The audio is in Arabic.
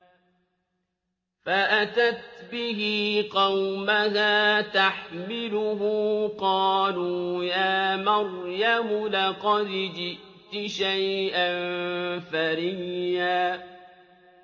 فَأَتَتْ بِهِ قَوْمَهَا تَحْمِلُهُ ۖ قَالُوا يَا مَرْيَمُ لَقَدْ جِئْتِ شَيْئًا فَرِيًّا